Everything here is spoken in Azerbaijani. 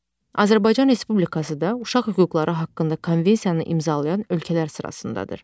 Azərbaycan Respublikası da Uşaq Hüquqları haqqında Konvensiyanı imzalayan ölkələr sırasındadır.